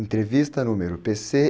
Entrevista número pê-cê